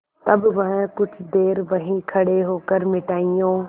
तब वह कुछ देर वहीं खड़े होकर मिठाइयों